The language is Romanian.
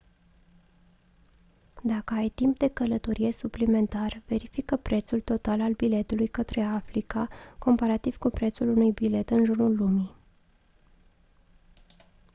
dacă ai timp de călătorie suplimentar verifică prețul total al biletului către africa comparativ cu prețul unui bilet în jurul lumii